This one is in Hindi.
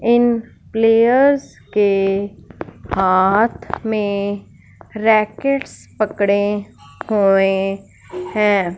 इन प्लेयर्स के हाथ में रैकेट्स पकड़े हुए हैं।